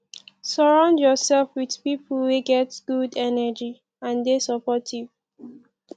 surround yourself with pipo wey get good energy and de supportive